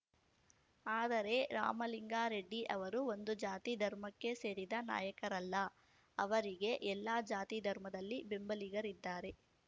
ಆದರೆ ರಾಮಲಿಂಗಾರೆಡ್ಡಿ ಅವರು ಒಂದು ಜಾತಿ ಧರ್ಮಕ್ಕೆ ಸೇರಿದ ನಾಯಕರಲ್ಲ ಅವರಿಗೆ ಎಲ್ಲ ಜಾತಿ ಧರ್ಮದಲ್ಲಿ ಬೆಂಬಲಿಗರಿದ್ದಾರೆ